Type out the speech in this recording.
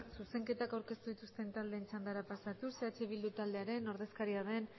zuzenketak aurkeztu dituzten taldeen txandara pasatuz eh bildu taldearen ordezkaria den